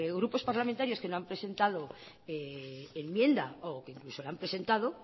grupos parlamentarios que no han presentando enmienda o que incluso la han presentado